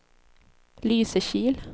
Lysekil